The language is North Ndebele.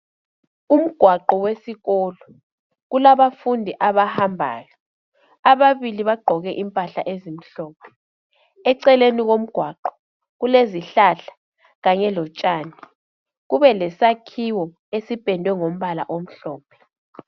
Umgwaqo wesikolo kulabafundi abahambayo ababili bagqoke impahla ezimhlophe eceleni komgwaqo kulezihlahla kanye lotshani kube lesakhiwo esipendwe ngombala omhlophe.